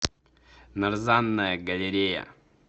нарзанная галерея